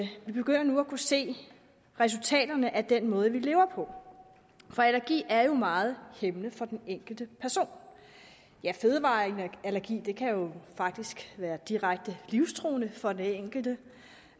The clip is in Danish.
vi begynder nu at kunne se resultaterne af den måde vi lever på for allergi er jo meget hæmmende for den enkelte person ja fødevareallergi kan jo faktisk være direkte livstruende for den enkelte